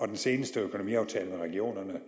den seneste økonomiaftale med regionerne